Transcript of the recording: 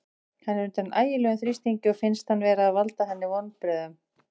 Hann er undir ægilegum þrýstingi og finnst hann vera að valda henni vonbrigðum.